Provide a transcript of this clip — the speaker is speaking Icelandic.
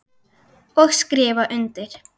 Og skrifa undir.